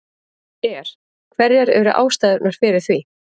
Er, hverjar eru ástæðurnar fyrir því?